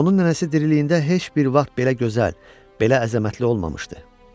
Onun nənəsi diriliyində heç bir vaxt belə gözəl, belə əzəmətli olmamışdı.